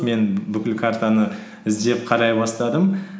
мен бүкіл картаны іздеп қарай бастадым